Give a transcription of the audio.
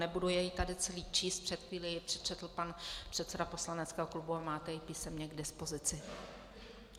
Nebudu jej tady celý číst, před chvílí jej přečetl pan předseda poslaneckého klubu a máte jej písemně k dispozici.